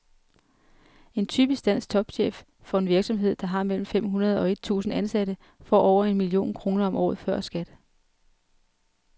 En typisk dansk topchef for en virksomhed, der har mellem fem hundrede og et tusind ansatte, får over en million kroner om året før skat.